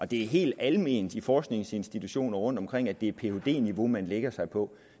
det er helt alment på forskningsinstitutioner rundtomkring at det er phd niveau man lægger sig på